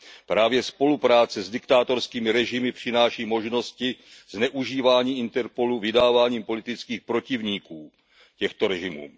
Právě spolupráce s diktátorskými režimy přináší možnosti zneužívaní Interpolu k vydávání politických protivníků těmto režimům.